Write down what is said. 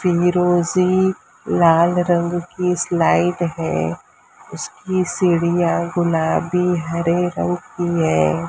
रोजी लाल रंग की स्लाइड है उसकी सीढ़ियां गुलाबी हरे रंग की है।